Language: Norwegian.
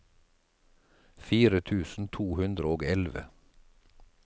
fire tusen to hundre og elleve